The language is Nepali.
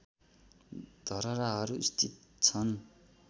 धरहराहरू स्थित छन्